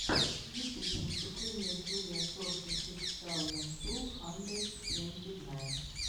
ютуб выступление джулиа сорти сыкс саузенд ту хандрэд твэнти найн